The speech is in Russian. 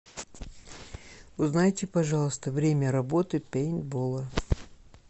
узнайте пожалуйста время работы пейнтбола